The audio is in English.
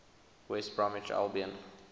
west bromwich albion